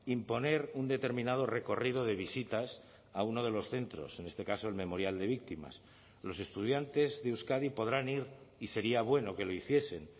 imponer un determinado recorrido de visitas a uno de los centros en este caso el memorial de víctimas los estudiantes de euskadi podrán ir y sería bueno que lo hiciesen